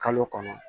Kalo kɔnɔ